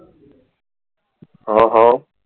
હા હા